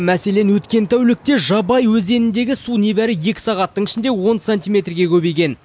мәселен өткен тәулікте жабай өзеніндегі су небәрі екі сағаттың ішінде он сантиметрге көбейген